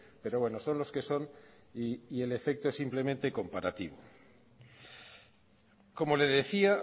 pero bueno son los que son y el efecto es simplemente comparativo como le decía